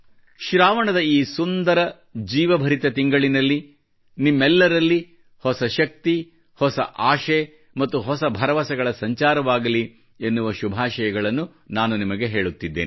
ಶ್ರಾವಣದ ಈ ಸುಂದರ ಮತ್ತು ಜೀವಭರಿತ ತಿಂಗಳಿನಲ್ಲಿ ನಿಮ್ಮೆಲ್ಲರಲ್ಲಿ ಹೊಸ ಶಕ್ತಿ ಹೊಸ ಆಶೆ ಮತ್ತು ಹೊಸ ಭರವಸೆಗಳ ಸಂಚಾರವಾಗಲಿ ಎನ್ನುವ ಶುಭಾಶಯಗಳನ್ನು ನಾನು ನಿಮಗೆ ಹೇಳುತ್ತಿದ್ದೇನೆ